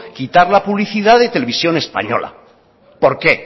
quitar la publicidad de televisión española por qué